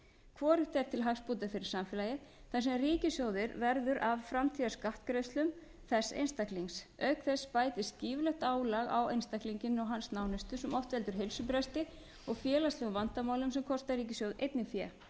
hvorugt er til hagsbóta fyrir samfélagið þar sem ríkissjóður verður af framtíðarskattgreiðslum þess einstaklings auk þess bætist gífurlegt álag á einstaklinginn og hans nánustu sem oft veldur heilsubresti og félagslegum vandamálum sem kosta ríkissjóð einnig fé